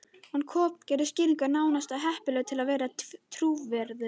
Hún kokgleypti skýringuna, nánast of heppilega til að vera trúverðuga.